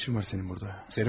Nə işin var sənin burda?